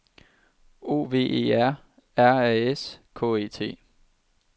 O V E R R A S K E T